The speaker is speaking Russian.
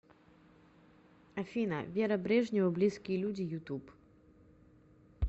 афина вера брежнева близкие люди ютуб